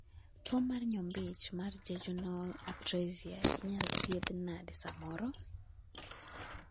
tuo mar nyombich mar jejunal atresia inyal thiedh nade samoro?